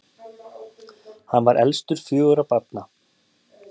Hann var elstur fjögurra barna.